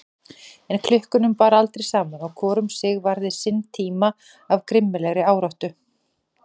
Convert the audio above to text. En klukkunum bar aldrei saman og hvor um sig varði sinn tíma af grimmilegri áráttu.